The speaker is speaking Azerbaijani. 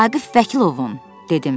Vaqif Vəkilovun, dedim.